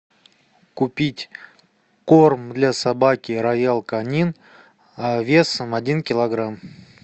купить корм для собаки роял канин весом один килограмм